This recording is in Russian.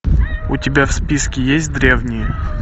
у тебя в списке есть древние